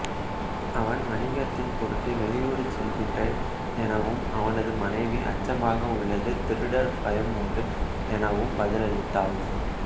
அவன் வணிகத்தின் பொருட்டு வெளியூர் செல்கின்றேன் எனவும் அவனது மனைவி அச்சமாக உள்ளது திருடர் பயம் உண்டு எனவும் பதிலளித்தாள்